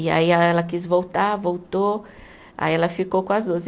E aí a ela quis voltar, voltou, aí ela ficou com as duas.